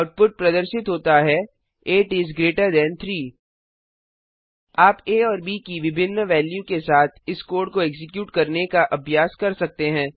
output प्रदर्शित होता है 8 इस ग्रेटर थान 3 आप आ और ब की विभिन्न वेल्यू के साथ इस कोड को एक्जीक्यूट करने का अभ्यास कर सकते हैं